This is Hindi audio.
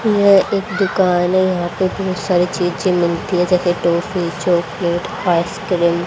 यह एक दुकान है। यहां पे बहोत सारे चिप्स नमकीन टॉफी चॉकलेट आइसक्रीम --